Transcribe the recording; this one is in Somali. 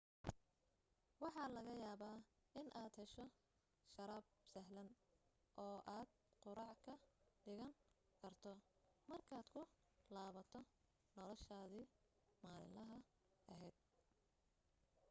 waxa laga yaaba inaad hesho sharaab sahlan oo aad quraac ka dhigan karto markaad ku laabato noloshaadi maalilaha ahayd